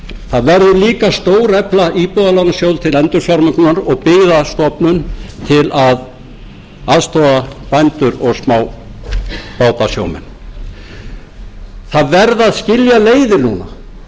það verður líka að stórefla íbúðalánasjóð til endurfjármögnunar og byggðastofnun til að aðstoða bændur og smábátasjómenn það verða að skilja leiðir núna við skulum segja skilið við græðgina skilið við